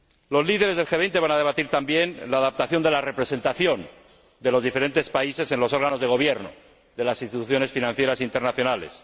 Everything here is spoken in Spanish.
Los líderes del G 20 van a debatir también la adaptación de la representación de los diferentes países en los órganos de gobierno de las instituciones financieras internacionales.